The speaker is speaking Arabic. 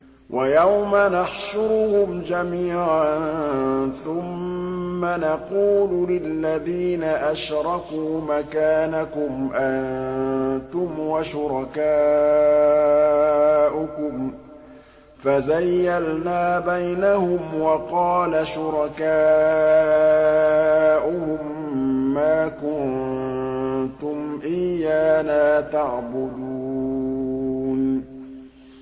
وَيَوْمَ نَحْشُرُهُمْ جَمِيعًا ثُمَّ نَقُولُ لِلَّذِينَ أَشْرَكُوا مَكَانَكُمْ أَنتُمْ وَشُرَكَاؤُكُمْ ۚ فَزَيَّلْنَا بَيْنَهُمْ ۖ وَقَالَ شُرَكَاؤُهُم مَّا كُنتُمْ إِيَّانَا تَعْبُدُونَ